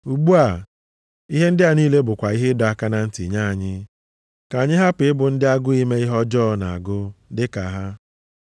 Ugbu a, ihe ndị a niile bụkwa ihe ịdọ aka na ntị nye anyị, ka anyị hapụ ịbụ ndị agụụ ime ihe ọjọọ na-agụ dịka ha.